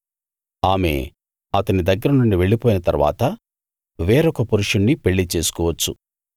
ఆమె అతని దగ్గర నుండి వెళ్లిపోయిన తరువాత వేరొక పురుషుణ్ణి పెళ్లి చేసుకోవచ్చు